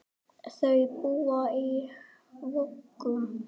Þau búa í Vogum.